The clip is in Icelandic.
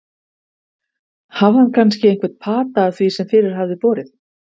Hafði hann kannski einhvern pata af því sem fyrir hafði borið?